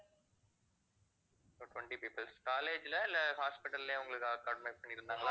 so twenty peoples college ல இல்லை hospital லய உங்களுக்கு